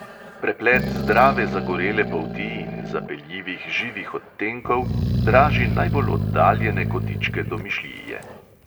Preplet zdrave zagorele polti in zapeljivih živih odtenkov draži najbolj oddaljene kotičke domišljije.